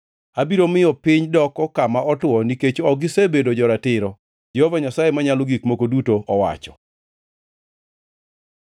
Abiro miyo piny doko kama otwo nikech ok gisebedo jo-ratiro, Jehova Nyasaye Manyalo Gik Moko Duto owacho.”